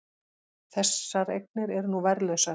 Þessar eignir eru nú verðlausar